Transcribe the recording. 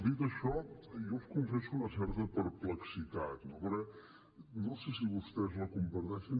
dit això jo els confesso una certa perplexitat no no sé si vostès la comparteixen